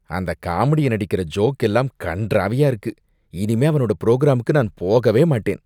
அந்த காமெடியன் அடிக்கிற ஜோக்கெல்லாம் கண்றாவியா இருக்கு, இனிமே அவனோட புரோகிராமுக்கு நான் போகவே மாட்டேன்.